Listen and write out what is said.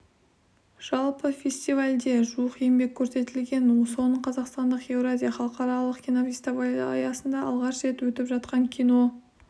жалпы фестивальде жуық еңбек көрсетілген соның қазақстандық еуразия халықаралық кинофестивалі аясында алғаш рет өтіп жатқан кино